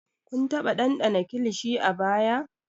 Kun taba dandana kilishi a baya?